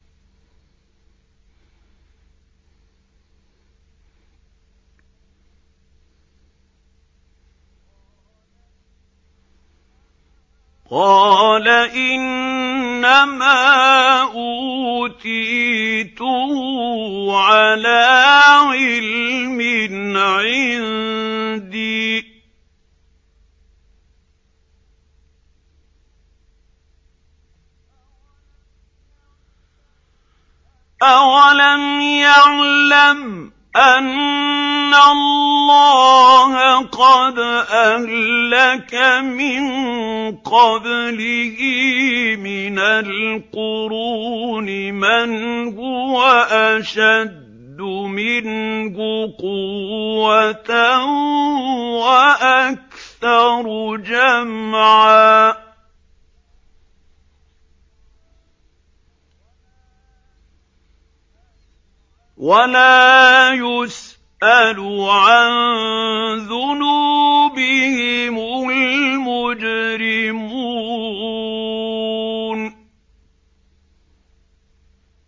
قَالَ إِنَّمَا أُوتِيتُهُ عَلَىٰ عِلْمٍ عِندِي ۚ أَوَلَمْ يَعْلَمْ أَنَّ اللَّهَ قَدْ أَهْلَكَ مِن قَبْلِهِ مِنَ الْقُرُونِ مَنْ هُوَ أَشَدُّ مِنْهُ قُوَّةً وَأَكْثَرُ جَمْعًا ۚ وَلَا يُسْأَلُ عَن ذُنُوبِهِمُ الْمُجْرِمُونَ